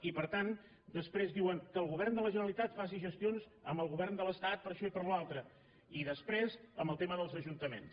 i per tant després diuen que el govern de la ge·neralitat faci gestions amb el govern de l’estat per això i per l’altre i després amb el tema dels ajuntaments